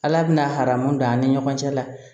Ala bɛna haramu don an ni ɲɔgɔn cɛ la